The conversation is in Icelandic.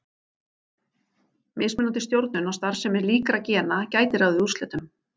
Mismunandi stjórnun á starfsemi líkra gena gæti ráðið úrslitum.